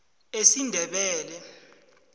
esindebele